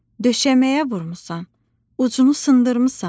Döşəməyə vurmusan, ucunu sındırmısan?"